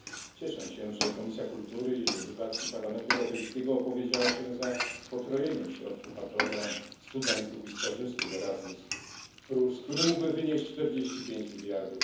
Cieszę się, że Komisja Kultury i Edukacji Parlamentu Europejskiego opowiedziała się za potrojeniem środków na program dla studentów i stażystów Erasmus, które mogłyby wynieść 45 mld EUR.